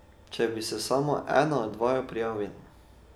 Če bi se samo ena od vaju prijavila ...